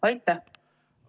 Aitäh!